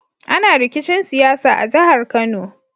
Ana rikicin siyasa a jahar kano